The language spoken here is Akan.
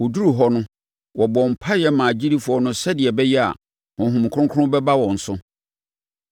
Wɔduruu hɔ no, wɔbɔɔ mpaeɛ maa agyidifoɔ no sɛdeɛ ɛbɛyɛ a, Honhom Kronkron bɛba wɔn so,